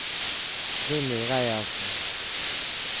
Willy Reiersen